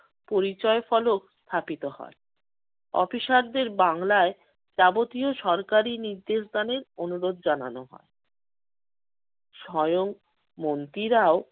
পরিচয় ফলক স্থাপিত হয়। অফিসারদের বাংলায় যাবতীয় সরকারি নির্দেশ দানের অনুরোধ জানানো হয়। স্বয়ং মন্ত্রীরাও